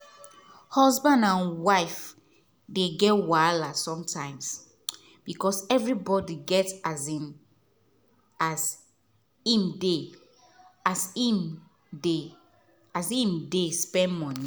husband and wife dey get wahala sometimes because everybody get as get hin dey as im dey as im dey spend money.